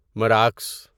مراکس